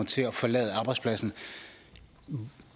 til at forlade arbejdspladsen